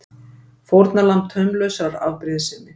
Fórnarlamb taumlausrar afbrýðisemi!